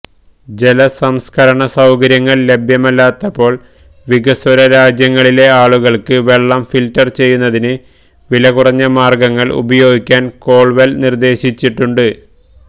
ജലസംസ്കരണ സൌകര്യങ്ങൾ ലഭ്യമല്ലാത്തപ്പോൾ വികസ്വര രാജ്യങ്ങളിലെ ആളുകൾക്ക് വെള്ളം ഫിൽട്ടർ ചെയ്യുന്നതിന് വിലകുറഞ്ഞ മാർഗ്ഗങ്ങൾ ഉപയോഗിക്കാൻ കോൾവെൽ നിർദ്ദേശിച്ചിട്ടുണ്ട്